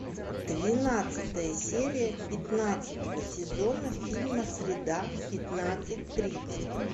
двенадцатая серия пятнадцатого сезона фильма среда пятнадцать тридцать